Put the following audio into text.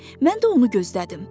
Mən də onu gözlədim.